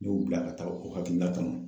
N y'u bila ka taa o hakilinata nun